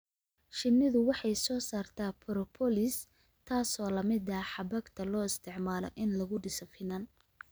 Shinnidu waxay soo saartaa propolis, taasoo la mid ah xabagta loo isticmaalo in lagu dhiso finan.